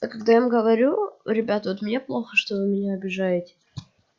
а когда им говорю ребят вот мне плохо что вы меня обижаете